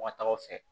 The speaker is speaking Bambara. Wa tagaw fɛ